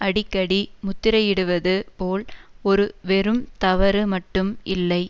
அடிக்கடி முத்திரையிடுவது போல் ஒரு வெறும் தவறு மட்டும் இல்லை